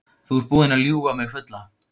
Þú ert búinn að ljúga mig fulla.